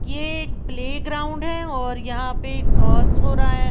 ये एक प्लेग्राउंड है और यहां पर टॉस हो रहा है।